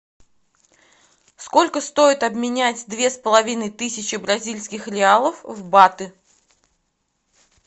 сколько стоит обменять две с половиной тысячи бразильских реалов в баты